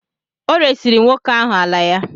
Ọ resiri nwoke ahụ ala ya.